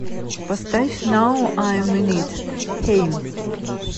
поставь нау айм ин ит хэйм